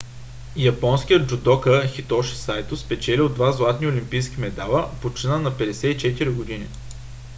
японският джудока хитоши сайто спечелил два златни олимпийски медала почина на 54 години